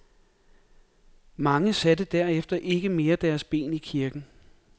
Mange satte derefter ikke mere deres ben i kirken.